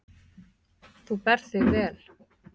Þú berð þig vel.